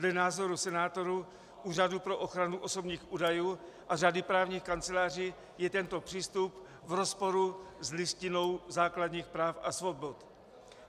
Dle názorů senátorů, Úřadu pro ochranu osobních údajů a řady právních kanceláří je tento přístup v rozporu s Listinou základních práv a svobod.